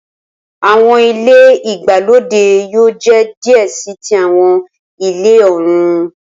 Awọn ile igbalode yoo jẹ diẹ sii ti awọn ile-ọrun.